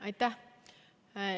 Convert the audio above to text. Aitäh!